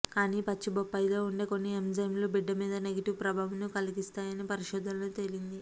కానీ పచ్చి బొప్పాయిలో ఉండే కొన్ని ఎంజైమ్స్ బిడ్డ మీద నెగిటివ్ ప్రభావంను కలిగిస్తాయని పరిశోధనలో తేలింది